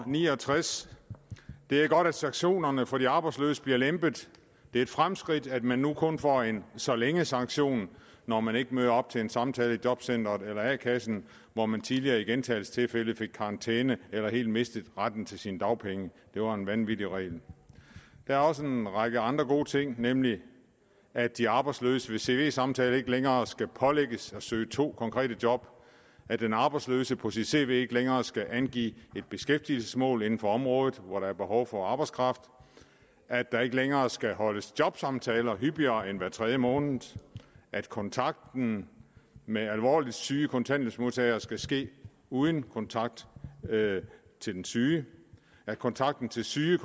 69 det er godt at sanktionerne for de arbejdsløse bliver lempet det er et fremskridt at man nu kun får en så længe sanktion når man ikke møder op til en samtale i jobcenteret eller a kassen hvor man tidligere i gentagelsestilfælde fik karantæne eller helt mistede retten til sine dagpenge det var en vanvittig regel der er også en række andre gode ting nemlig at de arbejdsløse ved cv samtale ikke længere skal pålægges at søge to konkrete job at den arbejdsløse på sit cv ikke længere skal angive et beskæftigelsesmål inden for området hvor der er behov for arbejdskraft at der ikke længere skal holdes jobsamtaler hyppigere end hver tredje måned at kontakten med alvorligt syge kontanthjælpsmodtagere skal ske uden kontakt til den syge at kontakten til syge